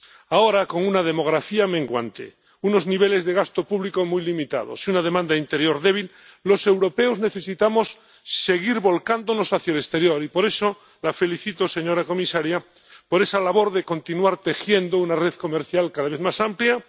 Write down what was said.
Ahora, con una demografía menguante, unos niveles de gasto público muy limitados y una demanda interior débil, los europeos necesitamos seguir volcándonos hacia el exterior, y por eso la felicito, señora comisaria, por esa labor de continuar tejiendo una red comercial cada vez más amplia.